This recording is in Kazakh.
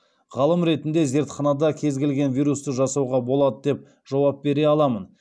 ғалым ретінде зертханада кез келген вирусты жасауға болады деп жауап бере аламын